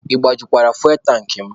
Ị gbajukwara fuwel tankị mụ?